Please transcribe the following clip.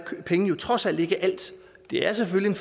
pengene trods alt ikke alt de er selvfølgelig